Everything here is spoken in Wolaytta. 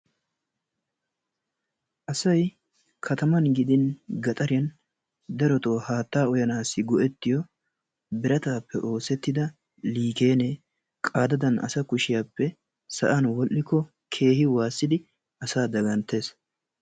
Asayi kataman gidin gaxariyan darotoo haattaa uyanaassi go"ettiyo birataappe oosettida liikeenee qaadadan asa kushiyappe sa"an wodhdhikko keehi waassidi asaa daganttes.